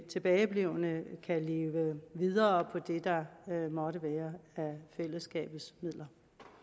tilbageblevne kan leve videre på det der måtte være af fællesskabets midler